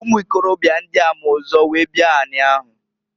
Ụmụ ikorobịa ndịa ma ụzọ wee bia n'ani ahụ.